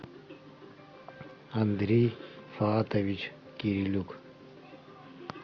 андрей фаатович кирилюк